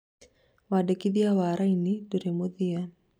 "... wandĩkithia wa raini ndũrĩ mũthia